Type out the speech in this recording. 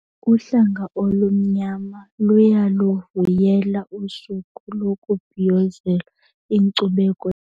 Uhlanga olumnyama luyaluvuyela usuku lokubhiyozela inkcubeko.